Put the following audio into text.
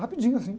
Rapidinho assim.